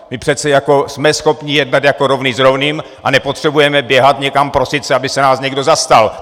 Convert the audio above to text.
My přece jako jsme schopni jednat jako rovný s rovným a nepotřebujeme běhat někam, prosit se, aby se nás někdo zastal!